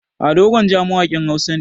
Ado Gwanja mawaƙin Hausa ne.